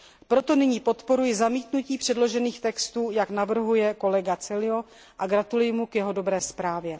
Proto nyní podporuji zamítnutí předložených textů, jak navrhuje kolega Coelho, a gratuluji mu k jeho dobré zprávě.